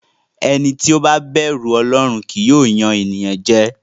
Ẹni tí ó bá bẹ̀rù Ọlọ́run kì í yàn ènìyàn jẹ.